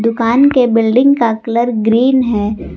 दुकान के बिल्डिंग का कलर ग्रीन है।